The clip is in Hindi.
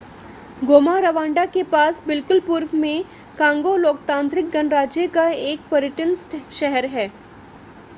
गोमा रवांडा के पास बिल्कुल पूर्व में कांगो लोकतांत्रिक गणराज्य का एक पर्यटन शहर है